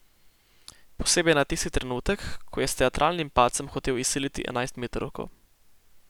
Posebej na tisti trenutek, ko je s teatralnim padcem hotel izsiliti enajstmetrovko.